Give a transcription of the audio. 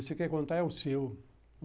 Você quer contar, é o seu.